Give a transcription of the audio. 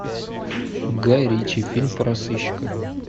гай ричи фильм про сыщика